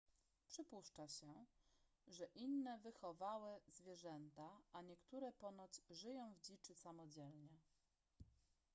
przypuszcza się że inne wychowały zwierzęta a niektóre ponoć żyją w dziczy samodzielnie